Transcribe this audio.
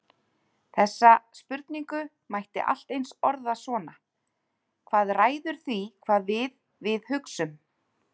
Þessa spurningu mætti allt eins orða svona: Hvað ræður því hvað við við hugsum?